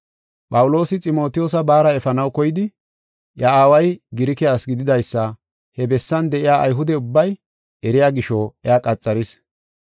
Phawuloosi Ximotiyoosa baara efanaw koydi, iya aaway Girike asi gididaysa he bessan de7iya Ayhude ubbay eriya gisho iya qaxaris.